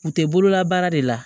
U tɛ bololabaara de la